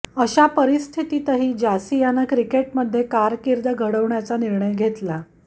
अशा परिस्थितीतही जासियानं क्रिकेटमध्ये कारकीर्द घडवण्याचा निर्णय घेतला